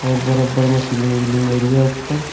ऊपर ऊपर में सीलिंग व्हीलिंग हो रही है ऊपर।